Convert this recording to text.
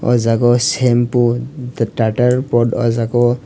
o jaga o sempo da dater pot o jaga o.